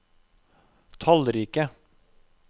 tallrike